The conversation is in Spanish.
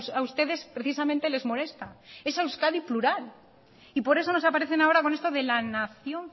a ustedes precisamente les molesta esa euskadi plural y por eso nos aparecen ahora con esto de la nación